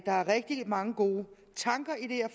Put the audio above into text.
er rigtig mange gode tanker i det her